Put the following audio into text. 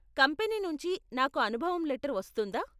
Company నుంచి నాకు అనుభవం లెటర్ వస్తుందా?